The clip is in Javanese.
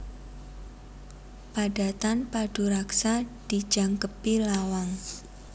Padatan paduraksa dijangkepi lawang